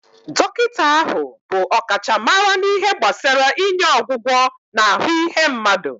Dọkịta ahụ bụ ọkachamara na ihe gbasara inye ọgwụgwọ na ahụ ihe mmadụ